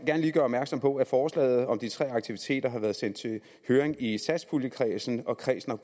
lige gøre opmærksom på at forslaget om de tre aktiviteter har været sendt i høring i satspuljekredsen og kredsen